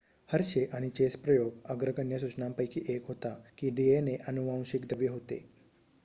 Hershey आणि Chase प्रयोग अग्रगण्य सूचनांपैकी 1 होता की डीएनए अनुवांशिक द्रव्य होते